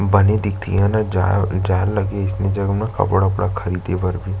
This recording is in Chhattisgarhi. भने दिखथे ये ह ना जाये जाए ला लगही अईसने जगह म कपडा-वपडा खरीदे बर--